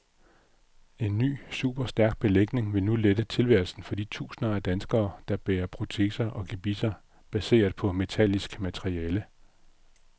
En ny type superstærk belægning vil nu lette tilværelsen for de tusinder af danskere, der bærer proteser og gebisser baseret på metallisk materiale.